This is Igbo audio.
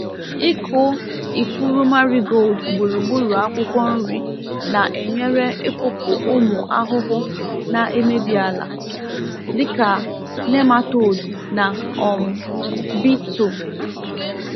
Ikụ ifuru marigold gburugburu akwụkwọ nri na-enyere ịkụpụ ụmụ ahụhụ na-emebi ala, dị ka nematode na um beetle.